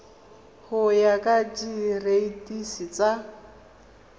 go ya ka direiti tsa